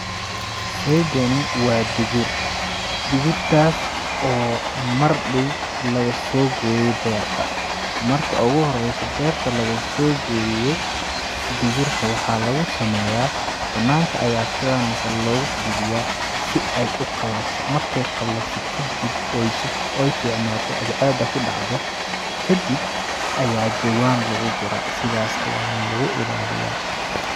Sheygani waa digir ,digr taas oo mar dhow lagasoo gooye beerta, marka ugu horeyso beerta lagasoo gooyo digirta waxaa lagu sameyaa ,banaanka ayaa sidaan oo kale lagu fidiyaa si ay uqalasho, markeey qalasho kadib ooy suf.... ooy fiicnaato cadceeda ku dhacdo kadib ayaa jawaan lagu guraa sidaas ayaana lagu ilaliyaa.